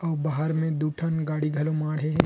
उ बहार म दू ठन गाड़ी घलो मढ़े हे ।--